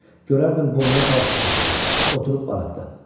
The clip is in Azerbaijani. Görərdim boynuna qalsut da taxıb, oturub barakda.